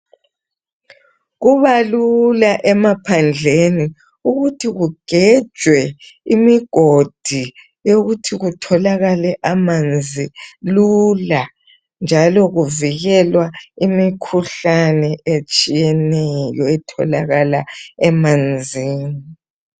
Kubalula emaphandleni ukuthi kugejwe imigodi yokuthi kutholakale amanzi lula njalo kuvikelwa imikhuhlane etshiyeneyo etholakala emanzini.